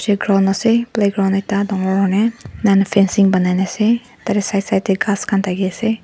playground ase playground ekta dangor huine enahuina fencing banai na ase tatey side side ghas khan thakiase.